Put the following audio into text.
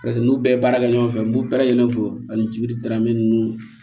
Paseke n'u bɛɛ baara kɛ ɲɔgɔn fɛ n b'u bɛɛ lajɛlen fɔ ani jigidi garbɛ ninnu